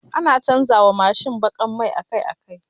Ana canja wa Mashin bakar mai akai akai